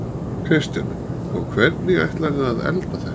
Kristjana: Og hvernig ætlarðu að elda þetta?